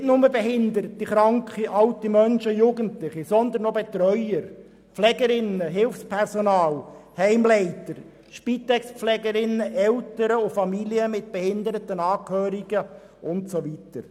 Nicht nur behinderte, kranke und alte Menschen und Jugendliche, sondern auch Betreuer, Pflegerinnen, Hilfspersonal, Heimleiter, Spitex-Pflegerinnen, Eltern und Familien mit behinderten Angehörigen und so weiter.